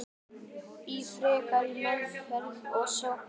Ég fór í frekari meðferð að Sogni.